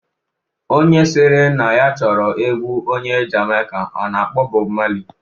Onye sịrị na ya chọrọ egwu onye Jamaika a na-akpọ Bọb Mali